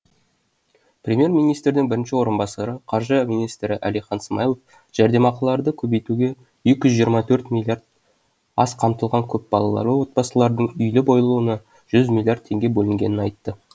премьер министрдің бірінші орынбасары қаржы министрі әлихан смайылов жәрдемақыларды көбейтуге екі жүз жиырма төрт миллиард аз қамтылған көпбалалы отбасылардың үйлі болуына жүз миллиард теңге бөлінгенін айтты